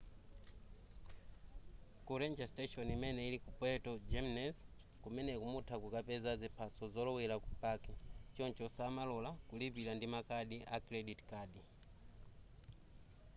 ku ranger station imene ili ku puerto jiménez kumeneku mutha kukapeza ziphaso zolowera ku paki choncho samalora kulipira ndi makadi a credit card